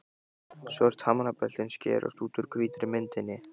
Svört hamrabeltin skerast út úr hvítri myndinni.